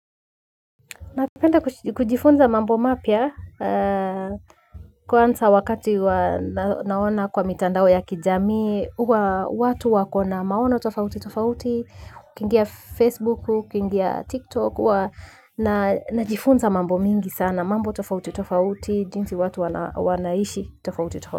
Napenda kujifunza mambo mapya kwanza wakati huwa naona kwa mitandao ya kijami huwa watu wako na maono tofauti tofauti, ukiingia Facebook, ukiingia TikTok, najifunza mambo mengi sana mambo tofauti tofauti, jinsi watu wanaishi tofauti tofauti.